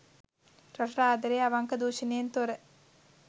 රටට ආදරේ අවංක දුෂණයෙන් තොර